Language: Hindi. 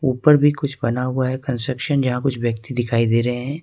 ऊपर भी कुछ बना हुआ है कंस्ट्रक्शन जहां कुछ व्यक्ति दिखाई दे रहे हैं।